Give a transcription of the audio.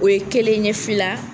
O ye kelen ye, fila